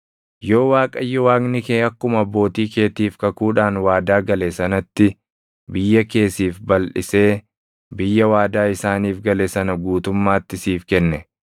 Yoo Waaqayyo Waaqni kee akkuma abbootii keetiif kakuudhaan waadaa gale sanatti biyya kee siif balʼisee biyya waadaa isaaniif gale sana guutummaatti siif kenne,